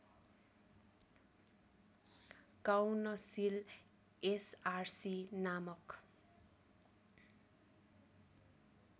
council S R C नामक